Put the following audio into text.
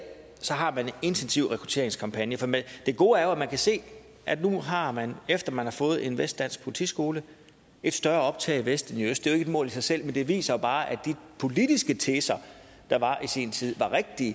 har man intensive rekrutteringskampagner det gode er jo at man kan se at nu har man efter man har fået en vestdansk politiskole et større optag i vest end i øst det er et mål i sig selv men det viser jo bare at de politiske teser der var i sin tid var rigtige